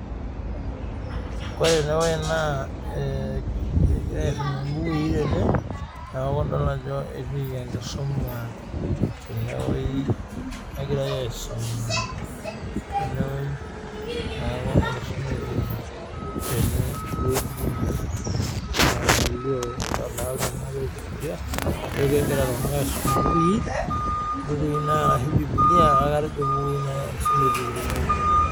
Ore enewueji naa egirai aisum imbukui tene. Niaku idol ajo etiiki enkisuma tene wueji egirai aisuma tenewuji niaku enkisuma etiiki tenewueji nalio naake teine agira iltunganak aisum imbukui naa arashu bubilia kake ajo naa mbukui